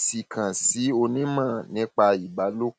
sí i kàn sí onímọ nípa ìbálòpọ